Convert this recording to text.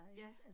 Ja